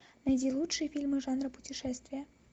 найди лучшие фильмы жанра путешествия